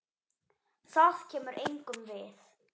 Það kemur engum við.